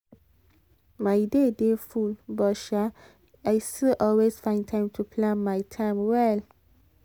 my day dey full but um i still always find time to plan my time well.